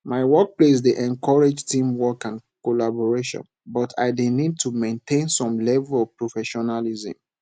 my workplace dey encourage teamwork and collaboration but i dey need to maintain some level of professionalism